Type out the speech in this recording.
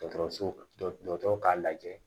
Dɔgɔtɔrɔso dɔgɔtɔrɔ ka lajɛ